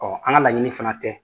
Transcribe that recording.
an ka laɲini fana tɛ.